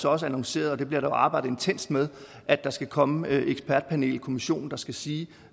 også annonceret og det bliver der arbejdet intenst med at der skal komme et ekspertpanel en kommission der skal sige